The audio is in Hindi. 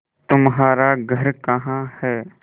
तुम्हारा घर कहाँ है